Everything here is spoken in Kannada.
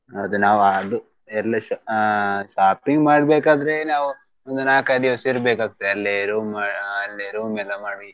ಅದು ನಾವು ಅದು ಎಲ್ಲ ಆ shopping ಮಾಡ್ಬೇಕಾದ್ರೆ ನಾವು ಒಂದ್ ನಾಕೈದ್ ದಿವಸ ಇರಬೇಕಾಗ್ತದೆ ಅಲ್ಲೆ room ಮಾ~ ಅಲ್ಲೆ room ಎಲ್ಲಾ ಮಾಡಿ.